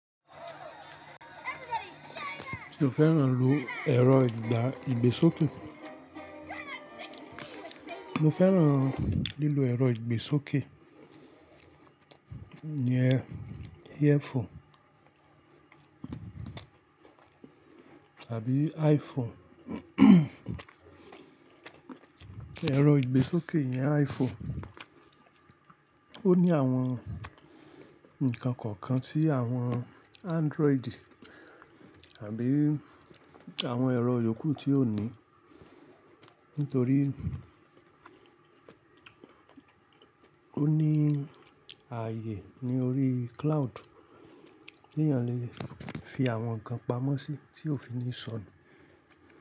Mo fẹ́ràn lílo ẹ̀rọ ìgbésókè iyen earphone tabi iPhone. Ẹ̀rọ ìgbésókè iyẹn iPhone. Ó ní àwọn nǹkan kọ̀ọ̀kan tí àwọn Android àbí àwọn ẹ̀rọ yòókù tí ò ní, nítorí ó ní ààyè ní orí cloud tí èèyàn lè fi àwọn nǹkan pamọ́ sí tí ó fi ní sọnù.